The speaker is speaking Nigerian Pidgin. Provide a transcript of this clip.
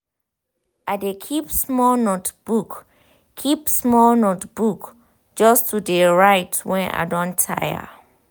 i de keep small notebook keep small notebook just to de write when i don tired.